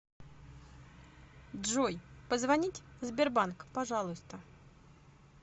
джой позвонить сбербанк пожалуйста